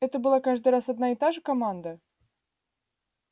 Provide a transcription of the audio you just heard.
это была каждый раз одна и та же команда